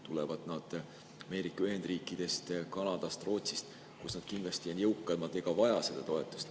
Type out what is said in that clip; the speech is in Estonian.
Kui nad tulevad Ameerika Ühendriikidest, Kanadast, Rootsist, siis on nad kindlasti jõukamad ega vaja seda toetust.